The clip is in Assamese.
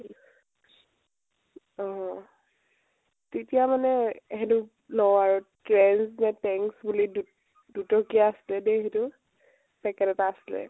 অ অ । তেতিয়া মানে সেইটো লও আৰু । trends নে tanks বুলি দু দুটকীয়া আছিল দেই সেইতো, packet এটা আছিলে